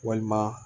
Walima